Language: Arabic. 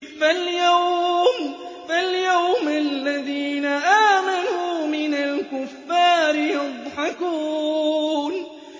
فَالْيَوْمَ الَّذِينَ آمَنُوا مِنَ الْكُفَّارِ يَضْحَكُونَ